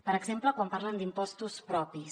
per exemple quan parlen d’impostos propis